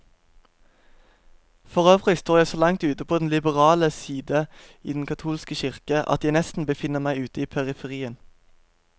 Forøvrig står jeg så langt ute på den liberale side i den katolske kirke, at jeg nesten befinner meg ute i periferien.